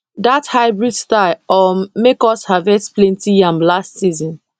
that hybrid style um make us harvest plenty yam last season